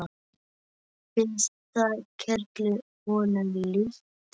Finnst það kerlu honum líkt.